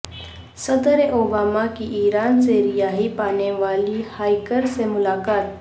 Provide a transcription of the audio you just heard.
صدراوباما کی ایران سے رہائی پانے والی ہائیکر سے ملاقات